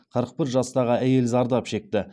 қырық бір жастағы әйел зардап шекті